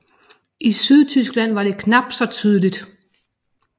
I Sydtyskland var det knap så tydeligt